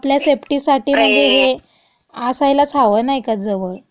आपल्या सेफ्टीसाठी मधे हे असायलाच हवं, नाई का, जवळ. स्प्रे